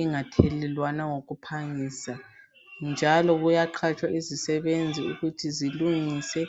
ingathelelwana ngokuphangisa njalo kuyaqatshwa izisebenzi ukuthi zilungise